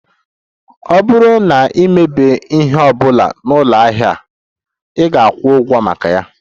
Ọ bụrụ na ị mebie ihe ọ bụla na ụlọ ahịa ahụ, ị ga-akwụ ụgwọ maka ya